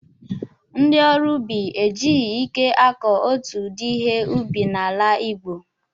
Ndị ọrụ ubi e jighị ike akụ otu ụdị ihe ubi n'ala Igbo.